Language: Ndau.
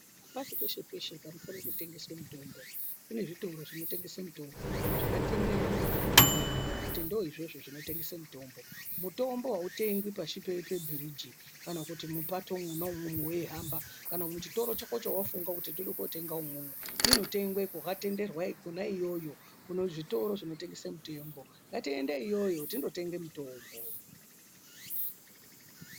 Hapashi peshe-peshe panofanirwe kutengeswe mitombo kune zvitoro zvinotengese mitombo zvakatenderwa ngehurumende kuti ndoizvozvo zvinotengese mitombo. Mutombo hautengwi pashi pebhiriji kana kuti mupato mwona imwomwo veihamba kana muchitoro chako chavafunda kuti ndoda kunotenga imwomwo inotengwe kwakatenderwa kona iyoyo kuzvitoro zvinotengesa mitombo. Ngatiende iyoyo tindo tenge mutombo.